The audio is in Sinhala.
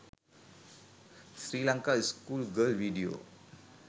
sri lanka school girl vedio